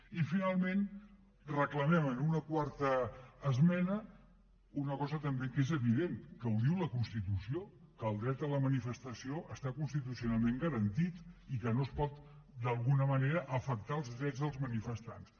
i finalment reclamem en una quarta esmena una cosa també que és evident que la diu la constitució que el dret a la manifestació està constitucionalment garantit i que no es poden d’alguna manera afectar els drets dels manifestants